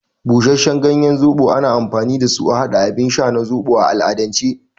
Busasshen ganyen zoɓo ana amfani dasu a haɗa abin sha na zoɓo a al'adance.